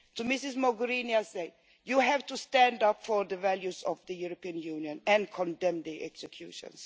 I say to Ms Mogherini, you have to stand up for the values of the European Union and condemn the executions.